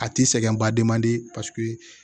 A ti sɛgɛn baden man di paseke